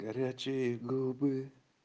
горячие губы